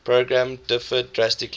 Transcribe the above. program differed drastically